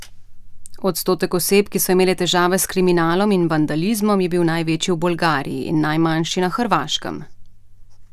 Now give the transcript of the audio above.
Odstotek oseb, ki so imele težave s kriminalom in vandalizmom, je bil največji v Bolgariji in najmanjši na Hrvaškem.